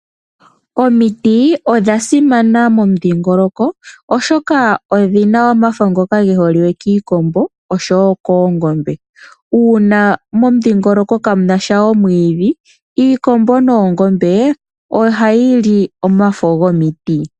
Omiti odhasimana momudhingoloko oshoka odhina omafo ngoka geholiwe kiikombo osho wo koongombe. Uuna momudhingoloko kamunasha omwidhi iikombo noongombe ohayi li omafo gomiti.